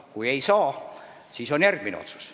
Kui ei saa, siis tuleb teha järgmine otsus.